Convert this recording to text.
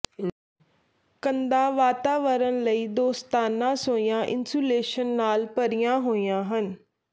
ਕੰਧਾਂ ਵਾਤਾਵਰਣ ਲਈ ਦੋਸਤਾਨਾ ਸੋਇਆ ਇਨਸੂਲੇਸ਼ਨ ਨਾਲ ਭਰੀਆਂ ਹੋਈਆਂ ਹਨ